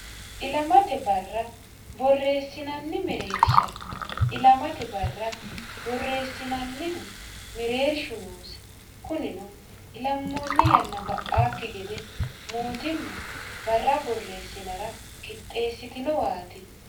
ilamate barra borreessinanni mereersha ilamate barra borreessinannihu mereershu noose kunino ilammoonni yanna ba'aakki gede mootimma barra borreessinara qixxeessitinowaati